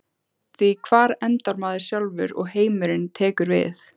Því hvar endar maður sjálfur og heimurinn tekur við?